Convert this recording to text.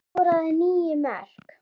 Hann skoraði níu mörk.